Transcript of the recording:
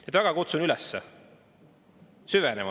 Ma väga kutsun üles süvenema.